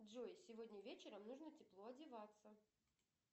джой сегодня вечером нужно тепло одеваться